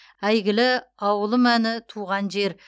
әйгілі ауылым әні туған жер